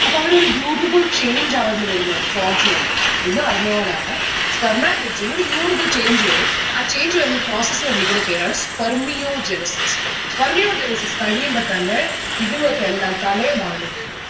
അപ്പൊ അവരൊരു beautiful change അവരില് വരുന്നുണ്ട് frogs ലൊക്കെ. എന്ന് പറഞ്ഞപോലെയാണ് spermatids ന് ഒരു beautiful change വരും ആ change വരുന്ന process നെ വിളിക്കുന്ന പേരാണ് Spermiogenesis. Spermiogenesis കഴിയുമ്പോ തന്നെ ഇതിങ്ങക്കെല്ലാം തലയും വാലും വരും